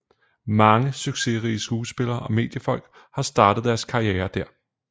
Mange succesrige skuespillere og mediefolk har startet deres karriere der